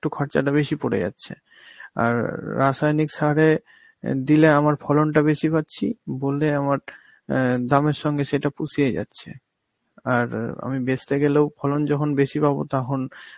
একটু খরচাটা বেশি পরে যাচ্ছে, আর রাসায়নিক সারে আঁ দিলে আমার ফলনটা বেশি পাচ্ছি, বললে আমার অ্যাঁ দামের সঙ্গে সেটা পুষিয়ে যাচ্ছে. আর অ আমি বেচতে গেলেও ফলন যখন বেশি পাবো তখন